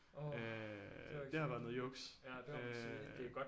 Øh det har været noget juks øh